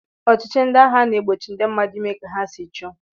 Ọchịchị ndị agha na-egbochi ndị mmadụ ime ka ha si chọọ